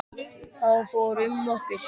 Þá fór um okkur.